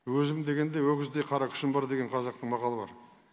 өзім дегенде өгіздей қара күшім бар деген қазақтың мақалы бар